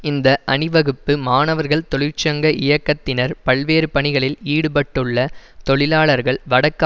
இந்த அணிவகுப்பு மாணவர்கள் தொழிற்சங்க இயக்கத்தினர் பல்வேறு பணிகளில் ஈடுபட்டுள்ள தொழிலாளர்கள் வடக்கு